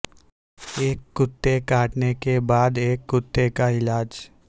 ایک کتے کاٹنے کے بعد ایک کتے کا علاج